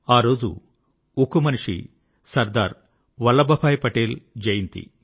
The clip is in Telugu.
ఆరోజు ఉక్కుమనిషి సర్దార్ వల్లభభాయి పటేల్ జయంతి